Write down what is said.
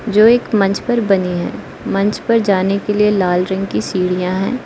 जो एक मंच पर बनी है मंच पर जाने के लिए लाल रंग की सीढ़ियां हैं।